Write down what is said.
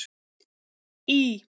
Í